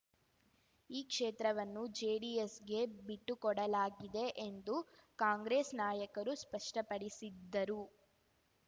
ಈ ಕ್ಷೇತ್ರವನ್ನು ಜೆಡಿಎಸ್‌ಗೆ ಬಿಟ್ಟುಕೊಡಲಾಗಿದೆ ಎಂದು ಕಾಂಗ್ರೆಸ್ ನಾಯಕರು ಸ್ಪಷ್ಟಪಡಿಸಿದ್ದರೂ